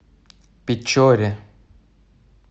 печоре